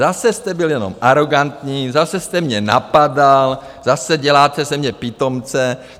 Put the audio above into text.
Zase jste byl jenom arogantní, zase jste mě napadal, zase děláte ze mě pitomce.